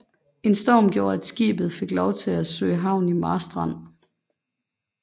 En storm gjorde at skibet fik lov at søge havn i Marstrand